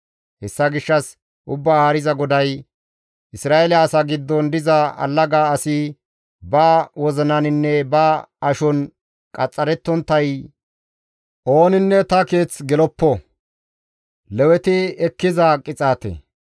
Hessa gishshas Ubbaa Haariza GODAY: Isra7eele asa giddon diza allaga asi, ba wozinaninne ba ashon qaxxarettonttay, ooninne ta Xoossa Keeththa geloppo.